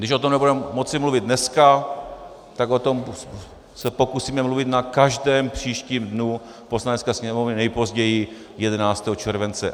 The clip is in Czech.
Když o tom nebudeme moci mluvit dneska, tak se o tom pokusíme mluvit na každém příštím dnu Poslanecké sněmovny, nejpozději 11. července.